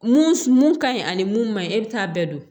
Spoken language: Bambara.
Mun mun ka ɲi ani mun man ɲi e bɛ taa bɛɛ don